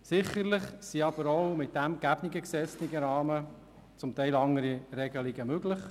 Sicherlich sind aber auch im gegebenen gesetzlichen Rahmen andere Regelungen möglich.